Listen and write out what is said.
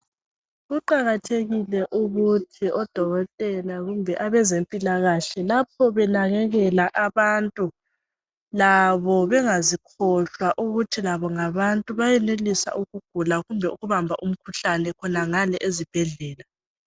kuqakathekile ukuthi odokotela kumbe abezempilakahle lapho benakelela abantu labo bengazikhohlwa ukuthi labo ngabantu bayenelisa ukugula kumbe ukubamba umkhuhlane khonangale ezibhedlela